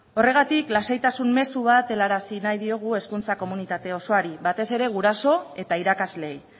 horregatik lasaitasun mezu bat helarazi nahi diogu hezkuntza komunitate osoari batez ere guraso eta irakasleei